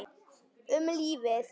Um lífið.